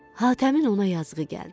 Hatəmin ona yazığı gəldi.